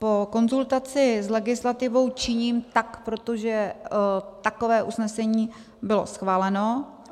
Po konzultaci s legislativou tak činím, protože takové usnesení bylo schváleno.